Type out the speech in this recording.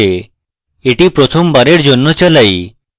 এটি প্রথম বারের জন্য চালাই